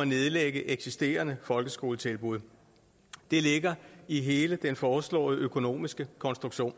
at nedlægge eksisterende folkeskoletilbud det ligger i hele den foreslåede økonomiske konstruktion